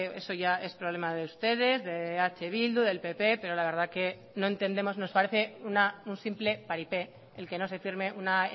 eso ya es problema de ustedes de eh bildu del pp pero la verdad que no entendemos nos parece un simple paripé el que no se firme una